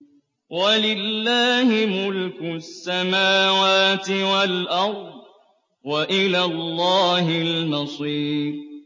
وَلِلَّهِ مُلْكُ السَّمَاوَاتِ وَالْأَرْضِ ۖ وَإِلَى اللَّهِ الْمَصِيرُ